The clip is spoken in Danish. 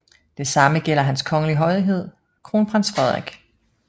Det samme gælder Hans Kongelige Højhed Kronprins Frederik